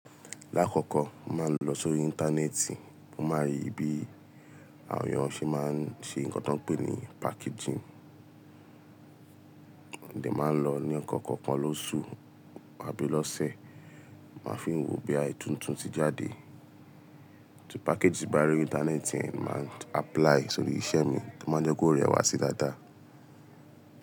Lákọ̀ọ̀kọ̀ọ̀, mo máa ń lọ sórí íńtánẹ́ẹ̀tì, mo máa rí bí àwọn èèyàn ṣe máa ń ṣe nǹkan tó ń pè ní packaging. Modẹ̀ má lọ ní ẹ̀kọ̀kan lóṣù àbí lọ́sẹ̀ má fiń wò bóyá in tuntun ti jáde package bá rí lórí íńtánẹ́ẹ̀tì, màá apply sórí iṣẹ́ mi, to máa n jẹ́ kó rẹ̀ wá sí dáadáa.